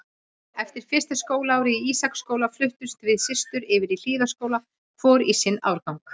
Eftir fyrsta skólaárið í Ísaksskóla fluttumst við systur yfir í Hlíðaskóla, hvor í sinn árgang.